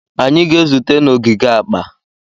Anyị ga-ezute n'ogige akpa.